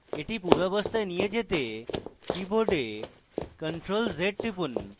এটি পূর্বাবস্থায় নিয়ে আসতে আপনার keyboard ctrl + z টিপুন